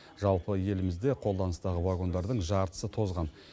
жалпы елімізде қолданыстағы вагондардың жартысы тозған